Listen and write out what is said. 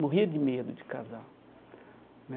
Morria de medo de casar né.